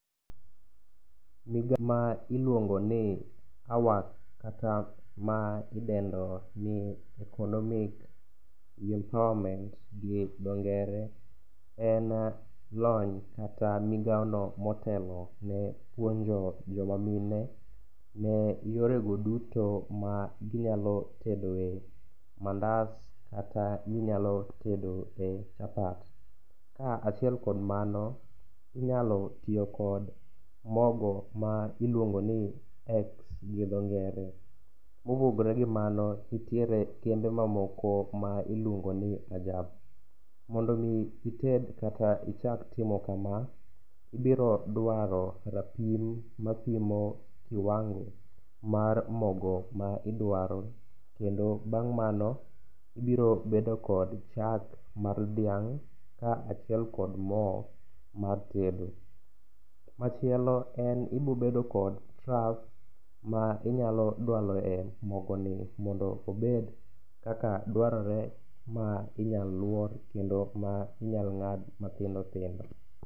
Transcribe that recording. Gigo ma ilwongo ni kata ma idendo ni economic empowerment gi dhongere en lony kata migawono motelo ne puonjo jo mamine ne yorego duto ma ginyalo tedoe mandas kata minyalo tedoe chapat, ka achiel kod mano, inyalo tiyo kod mogo ma iluongoni Ex gi dhongere. Kopogre gi mano, nitiere kembe mamoko ma iluongo ni Ajab. mondo omi ited kata ichak timo kama, ibiro dwaro rapim ma pimo kiwango mar mogo ma idwaro, kendo bang' mano, ibiro bedo kod chak mar dhiang' ka achiel kod mo mar tedo. Machielo en ibobedo kod trough ma inyalo dwaloe mogoni mondo obed kaka dwarore ma inyalo lwor kendo ma inyalo ng'ad mathindo thindo.